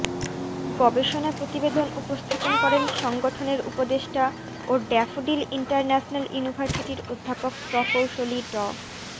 গবেষণা প্রতিবেদন উপস্থাপন করেন সংগঠনের উপদেষ্টা ও ড্যাফোডিল ইন্টারন্যাশনাল ইউনিভার্সিটির অধ্যাপক প্রকৌশলী ড